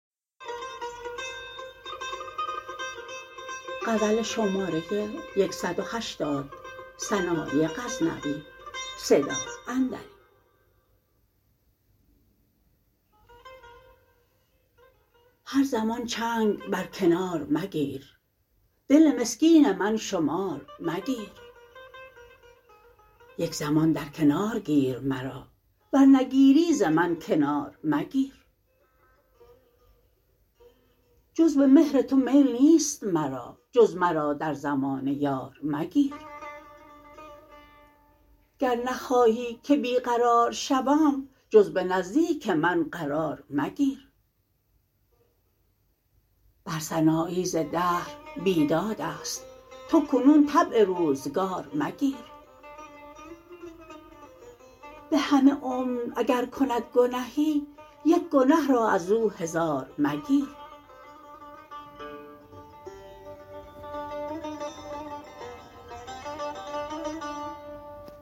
هر زمان چنگ بر کنار مگیر دل مسکین من شمار مگیر یک زمان در کنار گیر مرا ور نگیری ز من کنار مگیر جز به مهر تو میل نیست مرا جز مرا در زمانه یار مگیر گر نخواهی که بی قرار شوم جز به نزدیک من قرار مگیر بر سنایی ز دهر بیدادست تو کنون طبع روزگار مگیر به همه عمر اگر کند گنهی یک گنه را ازو هزار مگیر